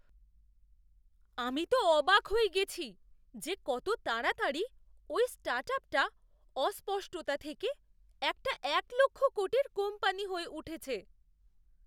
আমি তো অবাক হয়ে গেছি যে কত তাড়াতাড়ি ওই স্টার্টআপটা অস্পষ্টতা থেকে একটা এক লক্ষ কোটির কোম্পানি হয়ে উঠেছে!